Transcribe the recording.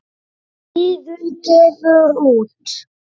Iðunn gefur út.